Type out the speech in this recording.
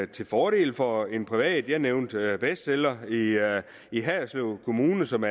til fordel for en privat jeg nævnte bestseller i haderslev kommune som